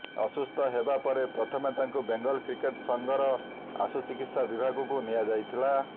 ଅସୁସ୍ଥ ହେବା ପରେ ପ୍ରଥମେ ତାଙ୍କୁ ବେଙ୍ଗଲ କ୍ରିକେଟ୍ ସଂଘର ଆଶୁ ଚିକିତ୍ସା ବିଭାଗକୁ ନିଆଯାଇଥିଲା